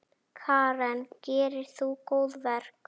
Karen: Gerir þú góðverk?